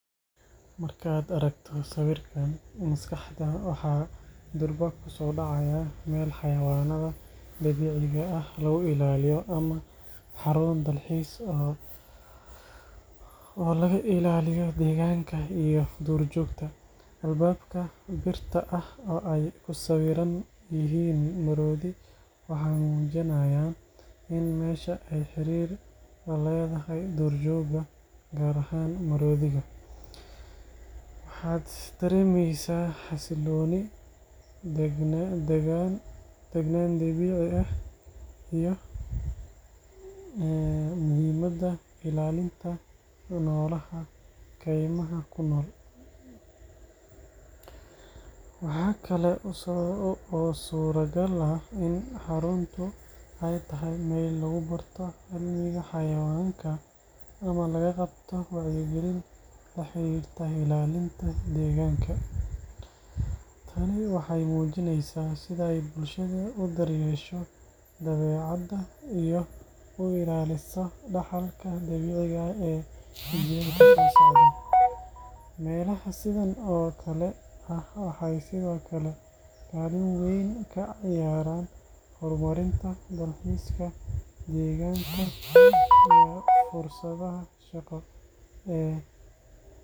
Markaad aragto sawirkan, maskaxda waxa durba ku soo dhacaya meel xayawaanada dabiiciga ah lagu ilaaliyo ama xarun dalxiis oo laga ilaaliyo deegaanka iyo duurjoogta. Albaabka birta ah oo ay ku sawiran yihiin maroodiyo waxay muujinayaan in meesha ay xiriir la leedahay duurjoogta, gaar ahaan maroodiga. Waxaad dareemeysaa xasillooni, degaan dabiici ah, iyo muhiimadda ilaalinta noolaha kaymaha ku nool. Waxaa kale oo suuragal ah in xaruntu ay tahay meel lagu barto cilmiga xayawaanka ama laga qabto wacyigelin la xiriirta ilaalinta deegaanka. Tani waxay muujinaysaa sida ay bulshadu u daryeesho dabeecadda iyo u ilaaliso dhaxalka dabiiciga ah ee jiilalka soo socda. Meelaha sidaan oo kale ah waxay sidoo kale kaalin weyn ka ciyaaraan horumarinta dalxiiska deegaanka iyo fursadaha shaqo ee dadka deegaanka.